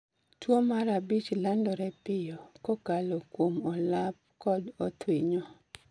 Tuwo mar abich landore pio, kokalo kuom olap kod othwinyo